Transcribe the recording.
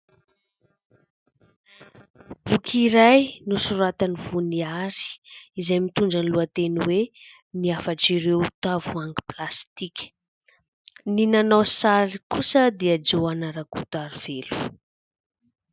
Boky iray nosoratan'i Voniary izay mitondra ny lohateny hoe " afatra ireo tavoangy plastika " ny nanao sary kosa dia Jôana rakotarovelo.